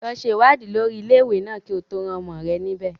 Lọ ṣe ìwádìí lórí ilé-ìwé náà kí o tó rán ọmọ rẹ níbẹ̀.